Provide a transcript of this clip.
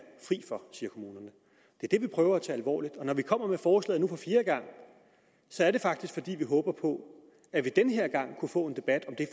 det vi prøver at tage alvorligt og når vi kommer med forslaget nu for fjerde gang er det faktisk fordi vi håber på at vi den her gang kunne få en debat om det